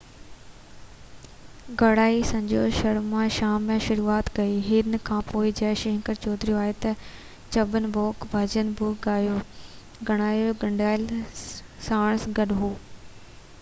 ڳائڻي سنجو شرما شام جي شروعات ڪئي هن کانپوءِ جئہ شنڪر چوڌري آيو ڇپن ڀوگ ڀڄن بہ ڳايو ڳائڻو کنڊيلوال ساڻس گڏ هو